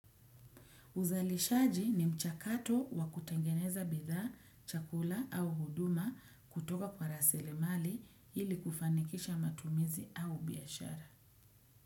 Uzalishaji ni mchakato wa kutengeneza bidha, chakula au huduma kutoka kwa rasili mali ili kufanikisha matumizi au biashara.